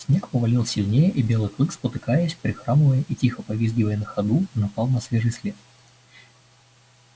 снег повалил сильнее и белый клык спотыкаясь прихрамывая и тихо повизгивая на ходу напал на свежий след